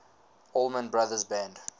allman brothers band